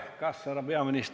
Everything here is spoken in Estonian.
Lugupeetud Riigikogu liikmed!